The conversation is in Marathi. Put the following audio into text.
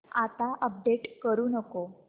आता अपडेट करू नको